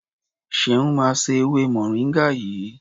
Ṣeun máa se ewé moringa yìí.